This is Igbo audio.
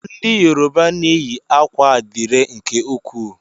Ndị Yoruba na eyi akwa adire nke ukwuu.